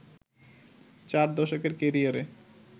চার দশকের ক্যারিয়ারে